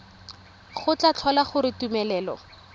go tla tlhola gore tumelelo